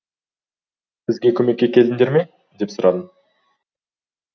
бізге көмекке келдіңдер ме деп сұрадым